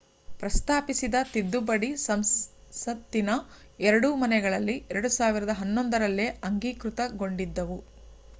ಪ್ರಸ್ತಾಪಿಸಿದ ತಿದ್ದುಪಡಿ ಸಂಸತ್ತಿನ ಎರಡೂ ಮನೆಗಳಲ್ಲಿ 2011ರಲ್ಲೇ ಅಂಗೀಕೃತಗೊಂಡಿದ್ದವು